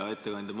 Hea ettekandja!